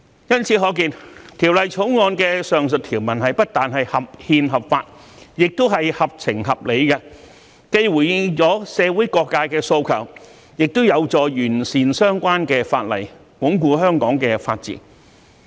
由此可見，《條例草案》的上述條文不但合憲合法，亦合情合理，既回應了社會各界的訴求，亦有助完善相關法例，鞏固香港的法治。